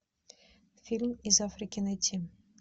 фильм из африки найти